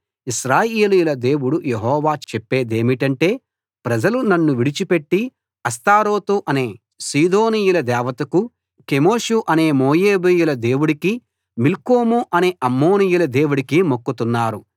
ఇశ్రాయేలీయుల దేవుడు యెహోవా చెప్పేదేమిటంటే ప్రజలు నన్ను విడిచిపెట్టి అష్తారోతు అనే సీదోనీయుల దేవతకు కెమోషు అనే మోయాబీయుల దేవుడికి మిల్కోము అనే అమ్మోనీయుల దేవుడికి మొక్కుతున్నారు